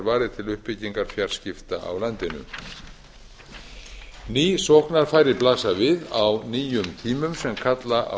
var varið til uppbyggingar fjarskipta á landinu ný sóknarfæri blasa við á nýjum tímum sem kalla á